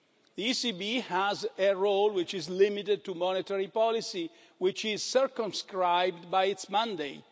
The ECB has a role which is limited to monetary policy, which is circumscribed by its mandate.